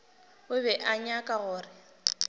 o be a nyaka gore